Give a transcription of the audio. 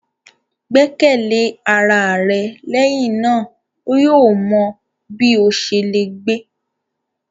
Gbẹkẹle ara rẹ, lẹhinna o yóò mọ bi o ṣe le gbe!